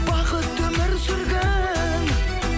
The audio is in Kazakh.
бақытты өмір сүргін